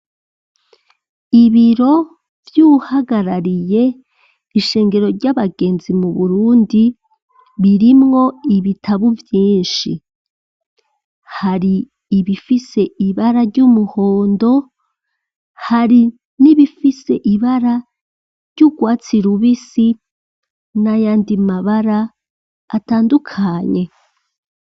ibiro vyuwu hagarariye ishengero ry'abagenzi mu burundi ririmwo ibitabu vyishi, hari ibifise ibara ry'umuhondo, hari nibifise ibara ry'urwatsi rubisi n'ayandi mabara atandukanye.